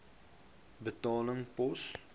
betaling pos